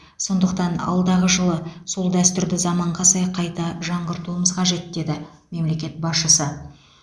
сондықтан алдағы жылы сол дәстүрді заманға сай қайта жаңғыртуымыз қажет деді мемлекет басшысы